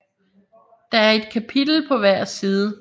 Der er et kapitel på hver side